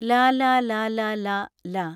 ലലലലല ല